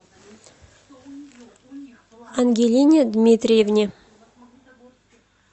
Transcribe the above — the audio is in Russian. ангелине дмитриевне